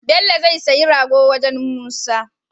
Bello zai siya rago wajan musa